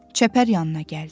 Çəpər yanına gəldi.